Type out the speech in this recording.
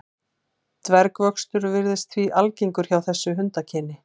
Dvergvöxtur virðist því algengur hjá þessu hundakyni.